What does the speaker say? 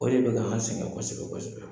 O de bi ka an sɛngɛ kɔsɛbɛ kɛsɛbɛ.